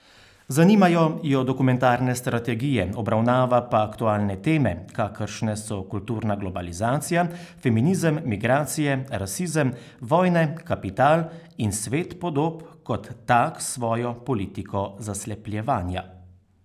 Zanimajo jo dokumentarne strategije, obravnava pa aktualne teme, kakršne so kulturna globalizacija, feminizem, migracije, rasizem, vojne, kapital in svet podob kot tak s svojo politiko zaslepljevanja.